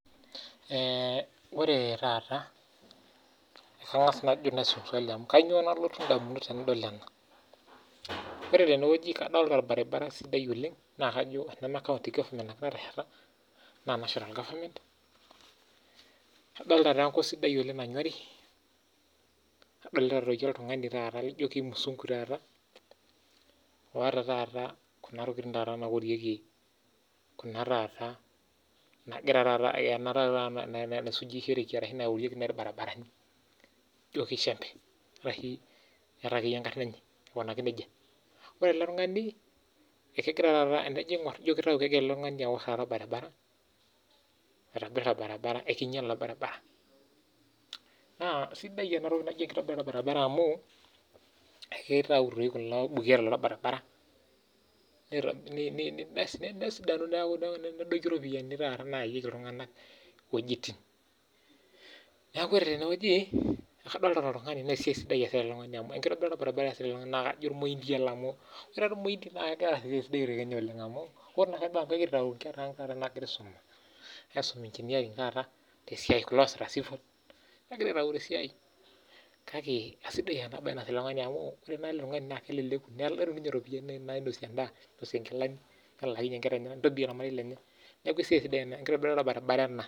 Ore tenewueji naa kadolita orbaribara sidai oleng laa teneme county ake natesheta naa national government kadolita enkop sidai nanyorie nadolita oltung'ani laijio kimuzungu otaa Kuna tokitin naorekie irbaribarani ejio enjembe ore ele tung'ani kegira aitobir orbaribara oinyiale naa sidai ena toki najii enkitobirata orbaribara amuu ekitau kulo buketa loo loorbaribara nedoyuo ropiani nayayieki iltung'ana wuejitin neeku ore tenewueji naa kadolita oltungani oitobirita orbaribara naa kajo ormoindi ele amu ore irmoindi negira aas esiai sidai oleng tele Osho lang ore amu kiata enkera ang naagira aisuma ai sum engineering taata kulo oosita cevil kegira aitau tesiai kake esidai ena mbae naasita ele tung'ani amu keleleku netum ninye ropiani nainosie endaa ninyianguenye endaa nintotie ormarei lenye neeku sidai ena siai enkitobirata orbaribara ena